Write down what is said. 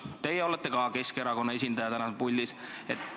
Teie olete Keskerakonna esindajana täna puldis.